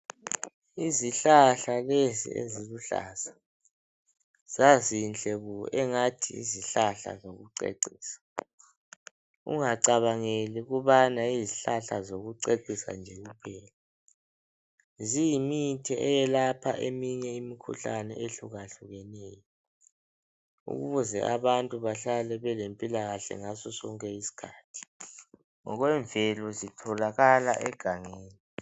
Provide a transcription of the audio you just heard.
Izihlahla lezi eziluhlaza, zazinhle bo engathi yizihlahla zokucecisa! Ungacabangeli ukubana yizihlahla zokucecisa nje kuphela, ziyimithi eyelapha eminye imikhuhlane ehlukahlukeneyo ukuze abantu bahlale belempilakahle ngasosonke isikhathi. Ngokwemvelo zitholakala egangeni.